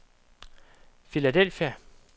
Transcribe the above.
Philadelphia